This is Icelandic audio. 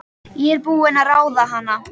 Ég er búin að ráða hana!